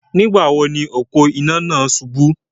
Nígbà wo ni òpó-iná náà subú?